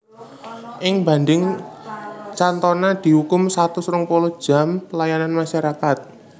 Ing bandhing Cantona diukum satus rong puluh jam pelayanan masyarakat